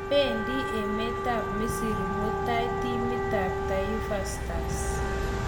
Pendi emetap misri mutai timitap Taifa Stars